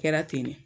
Kɛra ten de